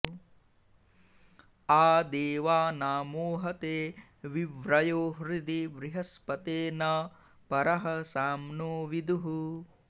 आ दे॒वाना॒मोह॑ते॒ वि व्रयो॑ हृ॒दि बृह॑स्पते॒ न प॒रः साम्नो॑ विदुः